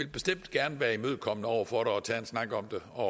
bestemt gerne være imødekommende over for det og tage en snak om det og